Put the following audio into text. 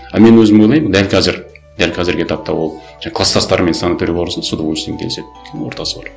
а мен өзім ойлаймын дәл қазір дәл қазіргі этапта ол жаңа кластастарымен санаторийге барсыншы с удовольствием келіседі өйткені ортасы бар